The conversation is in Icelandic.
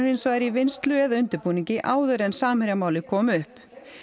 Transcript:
hins vegar í vinnslu eða undirbúningi áður en Samherjamálið kom upp